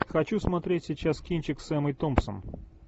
хочу смотреть сейчас кинчик с эммой томпсон